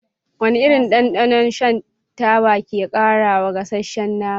Wane irin dandano shan taba ke ƙarawa gasasshen nama?